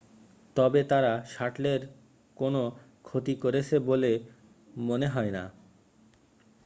তবে তারা শাটলের কোন ক্ষতি করেছে বলে মনে হয় না